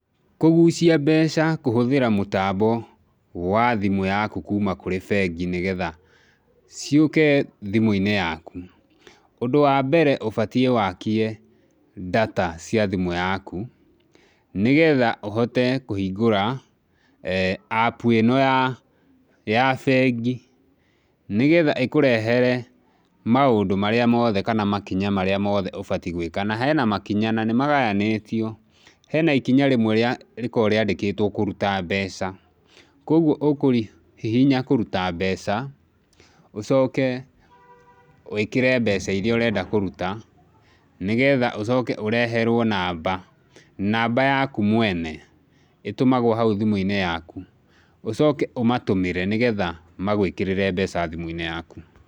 Kũgucia mbeca kũhũthĩra mũtambo wa thimũ yaku kuma kũrĩ bengi nĩgetha ciũke thimũ-inĩ yaku, ũndũ wa mbere ũbatiĩ wakie data cia thimũ yaku, nĩgetha ũhote kũhingũra eeh App ĩno ya, ya bengi, nĩgetha ĩkũrehere maũndũ marĩa mothe kana makinya marĩa mothe ũbatie gwĩka, na hena makinya nanĩ maganĩtio, hena ikinya rĩmwe rĩkoragwo rĩandĩkĩtwo kũruta mbeca, kuoguo ũkũhihinya kũruta mbeca, ũcoke wĩkĩre mbeca iria ũrenda kũruta, nĩgetha ũcoke ũreherwo namba, namba yaku mwene, ĩtũmagwo hau thimũ-inĩ yaku, ũcoke ũmatũmĩre, nĩgetha magwĩkĩrĩre mbeca thimũ-inĩ yaku.